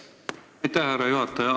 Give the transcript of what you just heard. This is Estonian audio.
Aitäh, härra juhataja!